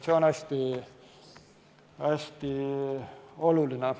See on hästi oluline.